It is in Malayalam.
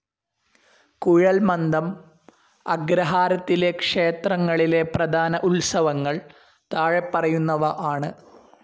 കുഴൽമന്ദം അഗ്രഹാരത്തിലെ ക്ഷേത്രങ്ങളിലെ പ്രധാന ഉത്സവങ്ങൾ താഴെപ്പറയുന്നവ ആണ്.